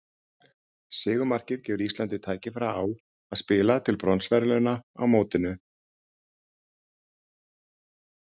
Sigurmarkið gefur Íslandi tækifæri á að spila til bronsverðlauna á mótinu.